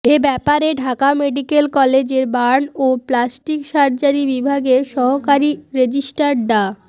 এ ব্যাপারে ঢাকা মেডিক্যাল কলেজের বার্ন ও প্লাস্টিক সার্জারি বিভাগের সহকারী রেজিস্টার ডা